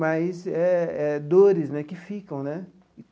Mas é é dores né que ficam, né?